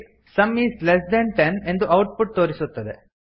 some is less than ten ಎಂದು output ತೋರಿಸುತ್ತದೆ